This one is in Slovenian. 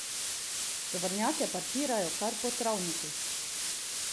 Tovornjake parkirajo kar po travnikih.